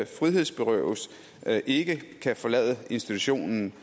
frihedsberøves ikke kan forlade i institutionen